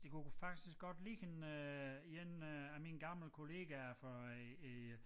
Det kunne faktisk godt ligne øh 1 øh af mine gamle kollegaer fra øh øh